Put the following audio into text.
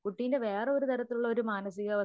കുട്ടിന്റെ വേറെ ഒരു തരത്തിലുള്ളഒരു മാനസിക അവസ്ഥയോ